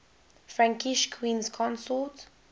frankish queens consort